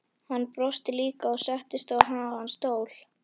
Hann brosti líka og settist á háan stól.